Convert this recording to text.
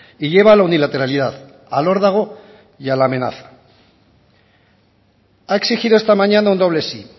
y lleva a la unilateralidad al órdago y a la amenaza ha exigido esta mañana un doble sí